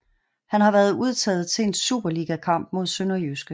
Han har været udtaget til en superligakamp mod Sønderjyske